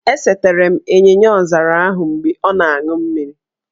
E setere m ịnyịnyaọzara ahụ mgbe ọ na-an̄ụ mmiri